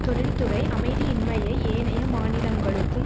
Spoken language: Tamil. தொழில்துறை அமைதியின்மையை ஏனைய மாநிலங்களுக்கும்